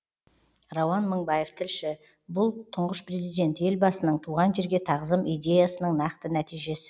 рауан мыңбаев тілші бұл тұңғыш президент елбасының туған жерге тағзым идеясының нақты нәтижесі